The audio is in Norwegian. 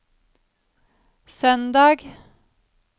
søndag